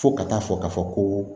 Fo ka taa fɔ ka fɔ ko